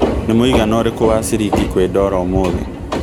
nĩ mũigana ũrĩkũ wa cĩrĩngĩ kwĩ dola ũmũthi